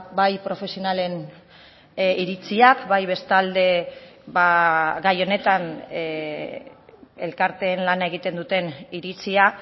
bai profesionalen iritziak bai bestalde gai honetan elkarteen lana egiten duten iritzia